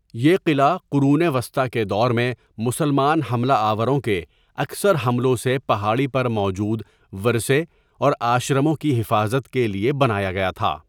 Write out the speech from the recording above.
یہ قلعہ قرون وسطیٰ کے دور میں مسلمان حملہ آوروں کے اکثر حملوں سے پہاڑی پر موجود ورثے اور آشرموں کی حفاظت کے لیے بنایا گیا تھا۔